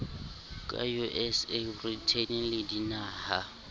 ka usa britain le dinaha